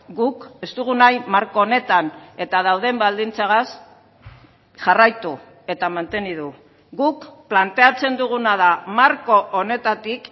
guk ez dugu nahi marko honetan eta dauden baldintzagaz jarraitu eta mantendu guk planteatzen duguna da marko honetatik